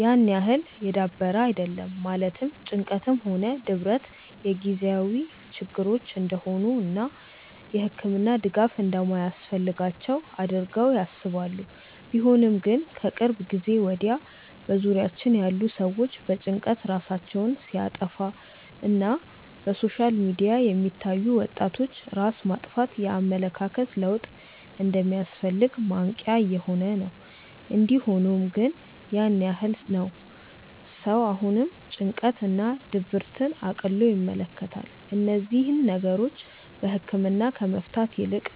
ያን ያህል የዳበረ አይደለም ማለትም ጭንቀትም ሆነ ድብረት የጊዜያዊ ችግሮች እንደሆኑ እና የህክምና ድጋፍ እንደማያስፈልጋቸው አድርገው ያስባሉ። ቢሆንም ግን ከቅርብ ጊዜ ወድያ በዙሪያችን ያሉ ሰዎች በጭንቀት ራሳቸውን ሲያጠፋ እና በሶሻል ሚዲያ የሚታዩ የወጣቶች ራስ ማጥፋት የኣመለካከት ለውጥ እንደሚያስፈልግ ማንቅያ እየሆነ ነው። እንዲ ሆኖም ግን ያን ያህል ነው ሰው አሁንም ጭንቀት እና ድብርትን እቅሎ ይመለከታል። እነዚህን ነገሮች በህክምና ከመፍታት ይልቅ